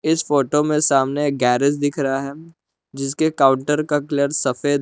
इस फोटो में सामने गैरेज दिख रहा है जिसके काउंटर का कलर सफेद है।